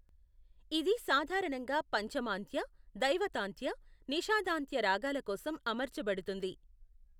ఇది సాధారణంగా పంచమాంత్య, దైవతాంత్య, నిషాదాంత్య రాగాల కోసం అమర్చబడుతుంది.